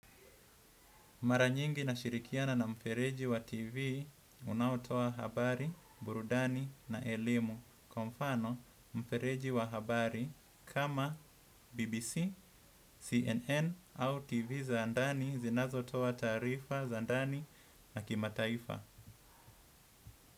Mara nyingi nashirikiana na mfereji wa TV, unaotoa habari, burudani na elimu. Kwa mfano, mfereji wa habari kama BBC, CNN au TV za ndani zinazotoa taarifa za ndani na kimataifa.